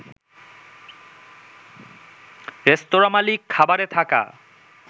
রেস্তোরাঁ মালিক খাবারে থাকা